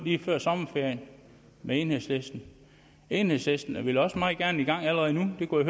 lige før sommerferien enhedslisten enhedslisten vil også meget gerne i gang allerede nu det kunne